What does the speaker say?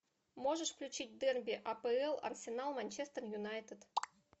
можешь включить дерби апл арсенал манчестер юнайтед